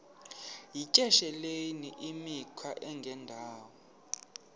yityesheleni imikhwa engendawo